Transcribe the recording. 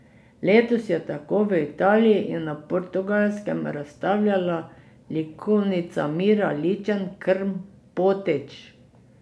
Letos je tako v Italiji in na Portugalskem razstavljala likovnica Mira Ličen Krmpotič.